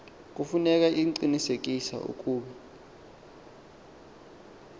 kufuneka iqinisekise ukuba